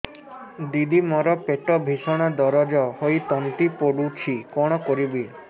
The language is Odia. ଦିଦି ମୋର ପେଟ ଭୀଷଣ ଦରଜ ହୋଇ ତଣ୍ଟି ପୋଡୁଛି କଣ କରିବି